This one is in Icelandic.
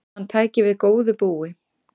Hann tæki við góðu búi.